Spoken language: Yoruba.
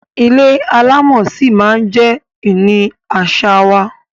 Ilé alámọ̀ ṣí ma jẹ ìní àṣà wa.